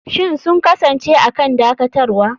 Shin sun kasance a kan dakatarwa?